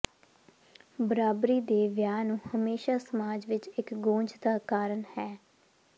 ਬਰਾਬਰੀ ਦੇ ਵਿਆਹ ਨੂੰ ਹਮੇਸ਼ਾ ਸਮਾਜ ਵਿੱਚ ਇੱਕ ਗੂੰਜ ਦਾ ਕਾਰਨ ਹੈ